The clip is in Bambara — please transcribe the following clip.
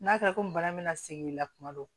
N'a kɛra komi bana bɛna segin i la kuma dɔ